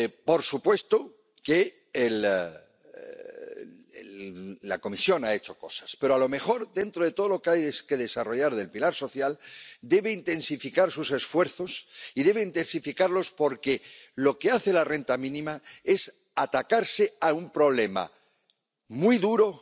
Por supuesto que la Comisión ha hecho cosas, pero a lo mejor, dentro de todo lo que hay que desarrollar del pilar social, debe intensificar sus esfuerzos, y debe intensificarlos porque lo que hace la renta mínima es atacar un problema muy duro,